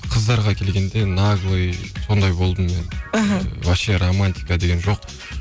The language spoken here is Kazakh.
қыздарға келгенде наглый сондай болдым мен іхі вообще романтика деген жоқ